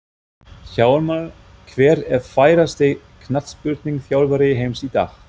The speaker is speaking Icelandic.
Hjálmar Hver er færasti knattspyrnuþjálfari heims í dag?